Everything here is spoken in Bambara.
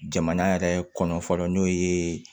Jamana yɛrɛ kɔnɔ fɔlɔ n'o ye